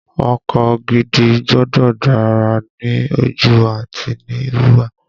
Ọkọ gidi gbọ́dọ̀ dára ní ojú àti ní wíwà